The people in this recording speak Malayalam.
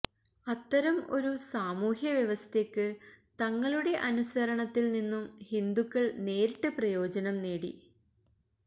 അത്തരം ഒരു സാമൂഹ്യ വ്യവസ്ഥക്ക് തങ്ങളുടെ അനുസരണത്തിൽ നിന്നും ഹിന്ദുക്കൾ നേരിട്ട് പ്രയോജനം നേടി